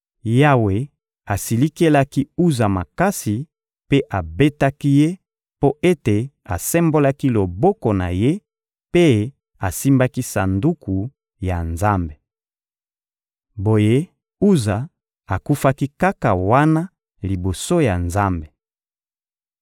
Yawe asilikelaki Uza makasi mpe abetaki ye mpo ete asembolaki loboko na ye mpe asimbaki Sanduku ya Nzambe. Boye, Uza akufaki kaka wana liboso ya Nzambe.